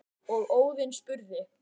og Óðinn spurði